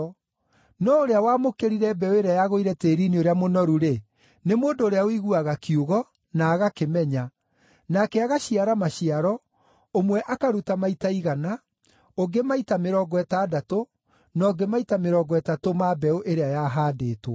No ũrĩa wamũkĩrire mbeũ ĩrĩa yagũire tĩĩri-inĩ ũrĩa mũnoru-rĩ, nĩ mũndũ ũrĩa ũiguaga kiugo, na agakĩmenya. Nake agaciara maciaro, ũmwe akaruta maita igana, ũngĩ maita mĩrongo ĩtandatũ, na ũngĩ maita mĩrongo ĩtatũ ma mbeũ ĩrĩa yahaandĩtwo.”